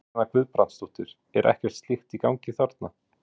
Kristjana Guðbrandsdóttir: Er ekkert slíkt í gangi þarna?